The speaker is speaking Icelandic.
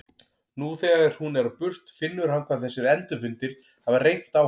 Nú þegar hún er á burt finnur hann hvað þessir endurfundir hafa reynt á hann.